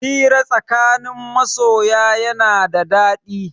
Hira a tsakanin masoya yana da daɗi.